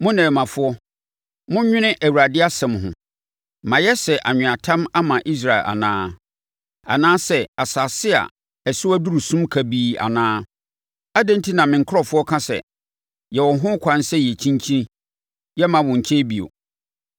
“Mo nnɛmmafoɔ, monnwene Awurade asɛm ho: “Mayɛ sɛ anweatam ama Israel anaa? Anaasɛ asase a ɛso aduru sum kabii anaa? Adɛn enti na me nkurɔfoɔ ka sɛ, ‘Yɛwɔ ho ɛkwan sɛ yɛkyinkyin; yɛremma wo nkyɛn bio.’